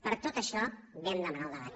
per tot això vam demanar el debat